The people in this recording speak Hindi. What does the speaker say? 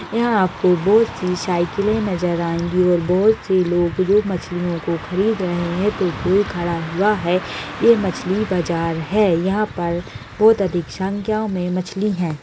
यह आपको बहुत सी साइकिल नजर आयंगी है । बहुत से लोग मछलिओं को ख़रीदे रहे हैं तो कोई खड़ा हुआ है। यह मछली बाजार है यहां पर बहुत अधिक संख्याओं में मछली है ।